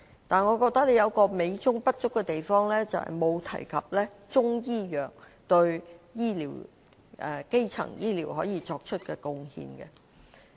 但是，一個美中不足的地方是，議案沒有提及中醫藥對基層醫療可以作出的貢獻。